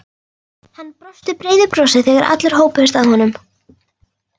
Hann brosti breiðu brosi þegar allir hópuðust að honum.